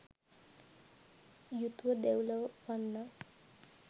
යුතුව දෙව්ලොව උපන්නා.